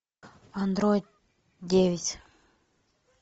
андроид девять